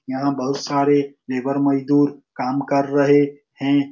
यहाँ बहौत सारे लेबर मजदुर काम कर रहे है।